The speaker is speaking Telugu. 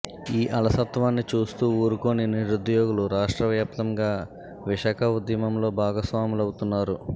ఈ అలసత్వాన్ని చూస్తూ ఊరుకోని నిరుద్యోగులు రాష్ట్ర వ్యాప్తంగా విశాఖ ఉద్యమంలో భాగస్వాములవు తున్నారు